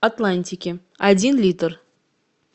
атлантики один литр